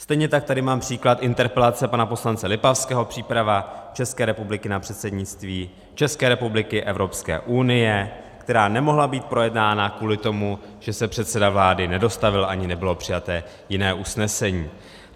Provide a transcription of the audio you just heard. Stejně tak tady mám příklad interpelace pana poslance Lipavského - příprava České republiky na předsednictví České republiky Evropské unie, která nemohla být projednána kvůli tomu, že se předseda vlády nedostavil, ani nebylo přijaté jiné usnesení.